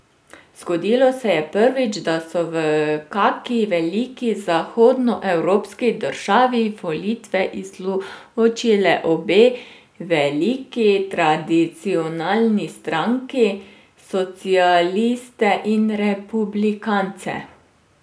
Zgodilo se je prvič, da so v kaki veliki zahodnoevropski državi volitve izločile obe veliki tradicionalni stranki, socialiste in republikance.